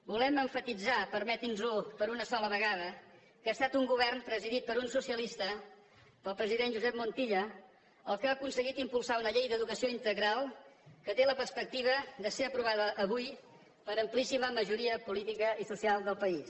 volem emfasitzar permeti’nsho per una sola vegada que ha estat un govern presidit per un socialista pel president josep montilla el que ha aconseguit impulsar una llei d’educació integral que té la perspectiva de ser aprovada avui per amplíssima majoria política i social del país